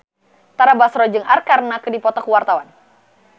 Tara Basro jeung Arkarna keur dipoto ku wartawan